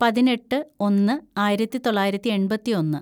പതിനെട്ട് ഒന്ന് ആയിരത്തിതൊള്ളായിരത്തി എണ്‍പത്തിയൊന്ന്‌